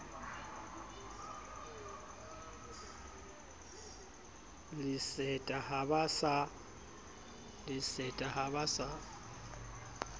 le seta ha ba sa